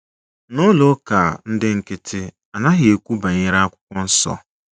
N’ụlọ ụka ndị nkịtị, A naghị ekwu banyere Akwụkwọ Nsọ